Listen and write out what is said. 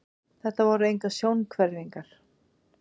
Þetta voru engar sjónhverfingar.